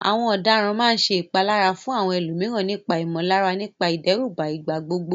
Àwọn ọ̀daràn máa ń ṣe ìpalára fún àwọn ẹlòmíràn nípa ìmọ̀lára nípasẹ̀ ìdẹ́rùbà ìgbà gbogbo.